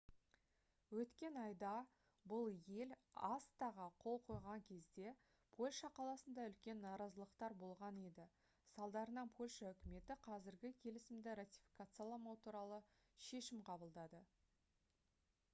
өткен айда бұл ел acta-ға қол қойған кезде польша қаласында үлкен наразылықтар болған еді салдарынан польша үкіметі қазірге келісімді ратификацияламау туралы шешім қабылдады